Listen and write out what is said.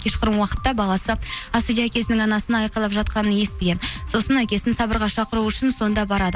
кешқұрым уақытта баласы ас үйде әкесінің анасына айқалап жатқанын естіген сосын әкесін сабырға шақыру үшін сонда барады